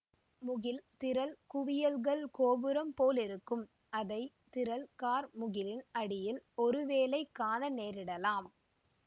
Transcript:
முகில் திரள் குவியல்கள் கோபுரம் போலிருக்கும் அதை திரள் கார்முகிலின் அடியில் ஒருவேளை காண நேரிடலாம்